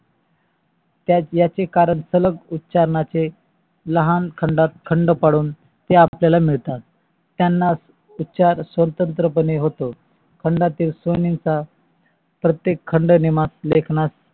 याचे कारण सलग उच्चारणा चे लहान खंडात खंड पडून ते आपल्या ला मिळतात. त्यंचा उच्चार स्वतंत्र पने होतो. खंडातील स्व्नेचा प्रतेक खंड लेखनात